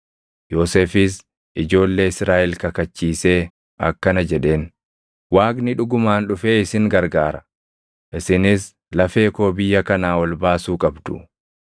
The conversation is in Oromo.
Yoosefis ijoollee Israaʼel kakachiisee akkana jedheen; “Waaqni dhugumaan dhufee isin gargaara; isinis lafee koo biyya kanaa ol baasuu qabdu.”